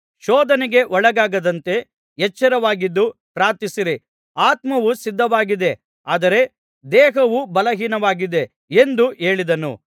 ಶೋಧನೆಗೆ ಒಳಗಾಗದಂತೆ ಎಚ್ಚರವಾಗಿದ್ದು ಪ್ರಾರ್ಥಿಸಿರಿ ಆತ್ಮವು ಸಿದ್ಧವಾಗಿದೆ ಆದರೆ ದೇಹವು ಬಲಹೀನವಾಗಿದೆ ಎಂದು ಹೇಳಿದನು